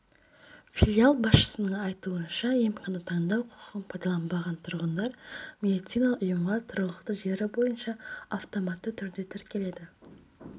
филиал басшысының айтуынша емхана таңдау құқығын пайдаланбаған тұрғындар медициналық ұйымға тұрғылықты жері бойынша автоматты түрде тіркеледі